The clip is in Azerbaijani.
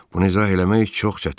Bunu izah eləmək çox çətindir.